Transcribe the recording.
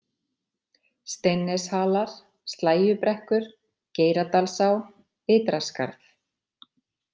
Steinsneshalar, Slægjubrekkur, Geiradalsá, Ytraskarð